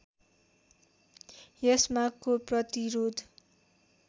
यस मागको प्रतिरोध